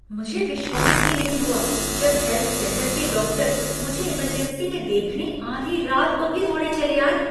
मुझे विश्वास ही नहीं हुआ जब हेल्थ सेंटर के डॉक्टर मुझे इमरजेंसी में देखने आधी रात को भी दौड़े चले आए।